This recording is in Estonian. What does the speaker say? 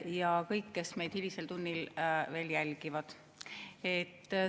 Ja kõik, kes meid hilisel tunnil veel jälgivad!